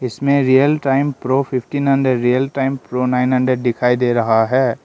इसमें real time pro fifty hundred and real time pro nine hundred दिखाई दे रहा है।